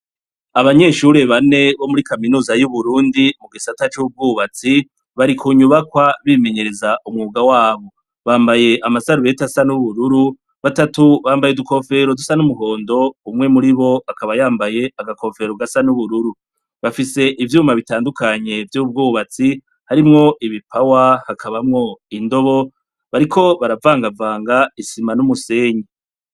Abanyeshure bane bo muri kaminuza yuburundi mugisata cubwubatsi bari kunyubakwa bimenyereza umwuga wabo bambaye amasarubeti asa nubururu batatu bambaye udukofero dusa numuhondo umwe muribo akaba yambaye agakobero gasa nubururu bafise ivyuma bitandukanye vyubwubatsi harimwo ibipawa hakabamwo indobo bariko baravangavanga isima numusenyi